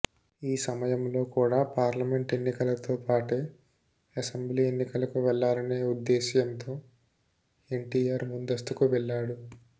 ఈ సమయంలో కూడ పార్లమెంట్ ఎన్నికలతో పాటే అసెంబ్లీ ఎన్నికలకు వెళ్లాలనే ఉద్దేశ్యంతో ఎన్టీఆర్ ముందస్తుకు వెళ్లాడు